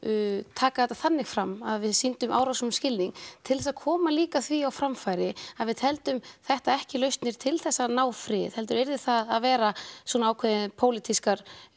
taka þetta þannig fram að við sýndum árásunum skilning til þess að koma líka því á framfæri að við teldum þetta ekki lausnir til að ná friði heldur yrði það að vera svona ákveðin pólitísk